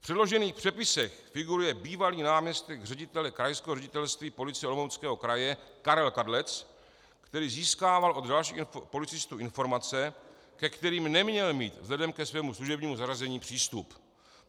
V předložených přepisech figuruje bývalý náměstek ředitele Krajského ředitelství policie Olomouckého kraje Karel Kadlec, který získával od dalších policistů informace, ke kterým neměl mít vzhledem ke svému služebnímu zařazení přístup.